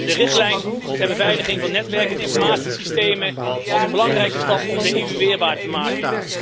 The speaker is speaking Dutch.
De richtlijn ter beveiliging van netwerk en informatiesystemen was een belangrijke stap om de EU weerbaarder te maken.